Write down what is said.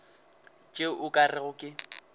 tšeo o ka rego ke